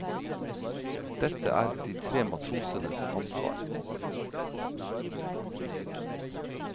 Dette er de tre matrosenes ansvar.